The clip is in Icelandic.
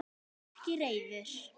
Ekki reiður.